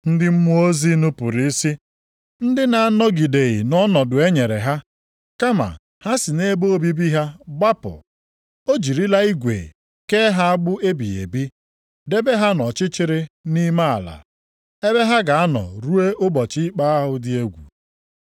Ndị mmụọ ozi nupuru isi, ndị na-anọgideghị nʼọnọdụ e nyere ha, kama ha si nʼebe obibi ha gbapụ. O jirila igwe kee ha agbụ ebighị ebi, debe ha nʼọchịchịrị nʼime ala, ebe ha ga-anọ ruo ụbọchị ikpe ahụ dị egwu.